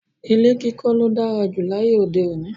Ilé kíkó ló dára jù láyé òde òní